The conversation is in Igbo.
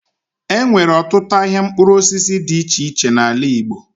E nwere ọtutụ ahịa mkpụrụ osisi dị iche iche n'ala Igbo.